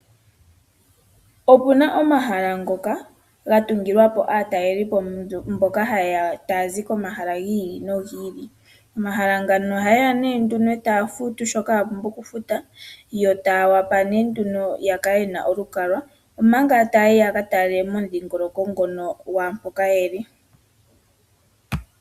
Opuna omahala ngoka ga tungilwapo aatalelipo mboka ta yeya, tayazi komahala giili no gili. Momahala ngoka oha yeya nduno eta ya futu shoka ya pumbwa oku futa, yo taya vulu nduno oku kala yena olukalwa, ompanga ta yayi yaka tale momudhingoloko ngoka lwaampoka yeli.